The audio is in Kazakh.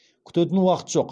күтетін уақыт жоқ